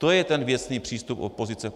To je ten věcný přístup opozice.